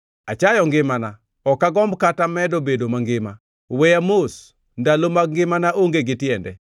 Achayo ngimana; ok agomb kata medo bedo mangima. Weya mos; ndalo mag ngimana onge gi tiende.